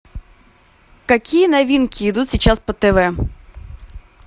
какие новинки идут сейчас по тв